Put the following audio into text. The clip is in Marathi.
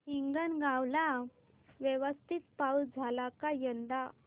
हिंगणगाव ला व्यवस्थित पाऊस झाला का यंदा